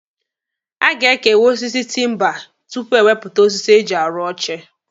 A ga-ekewa osisi timba tupu ewepụta osisi eji arụ oche.